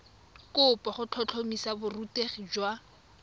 kopo go tlhotlhomisa borutegi jwa